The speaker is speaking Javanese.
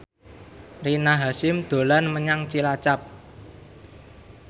Rina Hasyim dolan menyang Cilacap